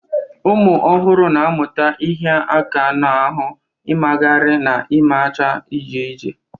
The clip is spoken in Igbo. Ụmụ ọhụrụ na-amụta ịhịa aka n'ahụ, ịmagharị, na imecha ije ije.